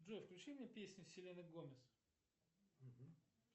джой включи мне песни селены гомес